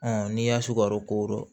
n'i y'a sukaro ko